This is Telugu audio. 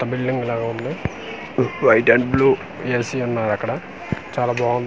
ఒక బిల్డింగ్ లాగుంది వైట్ అండ్ బ్లూ ఏసి ఉన్నారక్కడ చాలా బావున్--